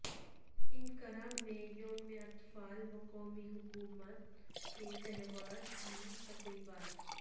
Ankara میں یوم اطفال و قومی حاکمیت کے تہوار کی تقریبات